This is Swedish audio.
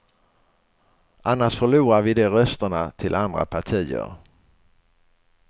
Annars förlorar vi de rösterna till andra partier.